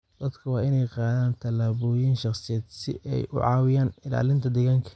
Dadka waa in ay qaadaan tallaabooyin shaqsiyeed si ay u caawiyaan ilaalinta deegaanka.